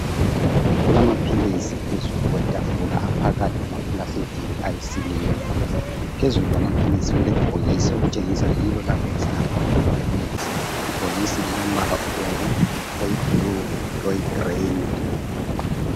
Kulamapilisi phezulu kwetafula aphakathi kwama phulasithiki ayisiliva. Phezulu kwamapilisi kulebhokisi elitshengisa yilolapho elihlala khona amaphilisi. Ibhokisi lilombala obomvu, oyibhulu, loyi 'green'.